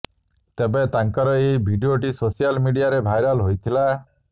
ତେବେ ତାଙ୍କର ଏହି ଭିଡିଓଟି ସୋସିଆଲ ମିଡ଼ିଆରେ ଭାଇରାଲ ହୋଇଥିଲା